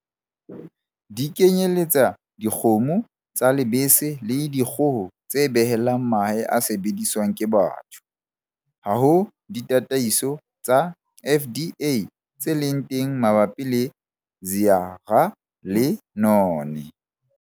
Di kenyeletsa dikgomo tsa lebese le dikgoho tse behelang mahe a sebediswang ke batho. Ha ho ditataiso tsa FDA tse leng teng mabapi le Zearalenone